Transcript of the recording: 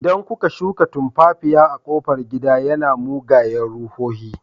Idan kuka shuka tumfafiya a kofar gida, yana mugayen ruhohi.